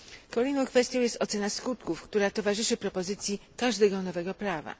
Kolejną kwestią jest ocena skutków, która towarzyszy propozycji każdego nowego prawa.